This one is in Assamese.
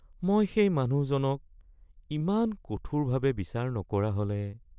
মই সেই মানুহজনক ইমান কঠোৰভাৱে বিচাৰ নকৰা হ’লে